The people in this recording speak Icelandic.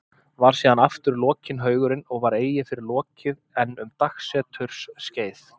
Var síðan aftur lokinn haugurinn og var eigi fyrr lokið en um dagseturs skeið.